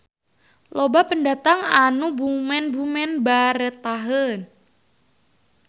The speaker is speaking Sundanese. Loba pendatang anu bumen-bumen baretaheun.